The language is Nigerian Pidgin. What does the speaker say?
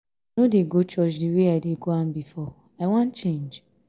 i no dey go church the way i dey go am before. i wan change.